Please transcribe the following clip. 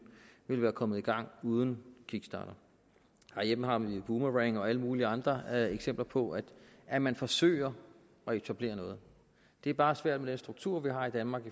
ville være kommet i gang uden kickstarter herhjemme har man en boomerang og alle mulige andre eksempler på at man forsøger at etablere noget det er bare svært med den struktur vi har i danmark